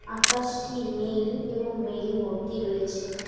আকাশটি নীল এবং মেঘে ভর্তি রয়েছে।